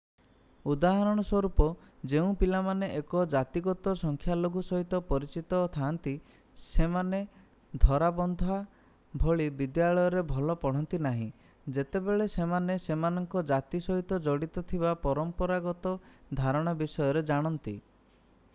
ଉଦାହରଣ ସ୍ୱରୂପ ଯେଉଁ ପିଲାମାନେ ଏକ ଜାତିଗତ ସଂଖ୍ୟାଲଘୁ ସହିତ ପରିଚିତ ଥାଆନ୍ତି ସେମାନେ ଧରାବନ୍ଧା ଭଳି ବିଦ୍ୟାଳୟରେ ଭଲ ପଢ଼ନ୍ତି ନାହିଁ ଯେତେବେଳେ ସେମାନେ ସେମାନଙ୍କ ଜାତି ସହିତ ଜଡ଼ିତ ଥିବା ପରାମ୍ପରାଗତ ଧାରଣା ବିଷୟରେ ଜାଣନ୍ତି